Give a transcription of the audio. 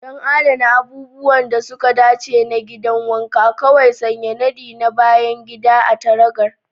Don adana abubuwan da suka dace na gidan wanka, kawai sanya nadi na bayan gida a kan taragar.